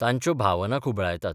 तांच्यो भावना खुबळायतात.